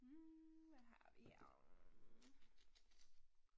Hm hvad har vi her hm